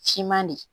Siman le